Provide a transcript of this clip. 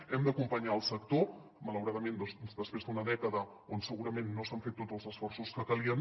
hem d’acompanyar el sector malauradament després d’una dècada on segurament no s’han fet tots els esforços que calien